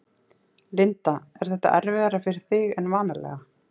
Linda: Er þetta erfiðara fyrir þig en vanalega?